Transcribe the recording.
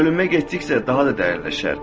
Bölünmə getdikcə daha da dərinləşər.